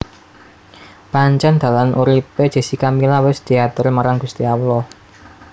Pancen dalan urip e Jessica Mila wis diatur marang Gusti Allah